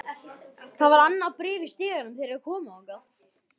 Það var annað bréf í stiganum þegar þeir komu þangað.